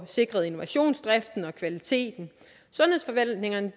sikret innovationsdriften og kvaliteten sundhedsforvaltningerne